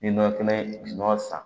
Ni nɔnɔ kɛnɛ san